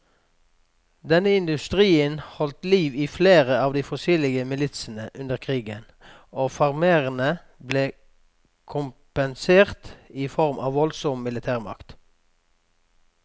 Denne industrien holdt liv i flere av de forskjellige militsene under krigen, og farmerne ble kompensert i form av voldsom militærmakt.